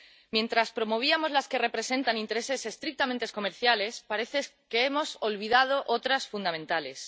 Mientras promovíamos las que representan intereses estrictamente comerciales, parece que hemos olvidado otras fundamentales.